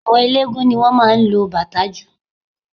Àwọn eléégún ni wọ́n máa ń lo bàtá jù